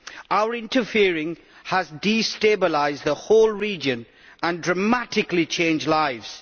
Our interfering has destabilised the whole region and dramatically changed lives.